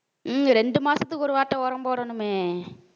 உம் ரெண்டு மாசத்துக்கு ஒரு வாட்டம் உரம் போடணுமே.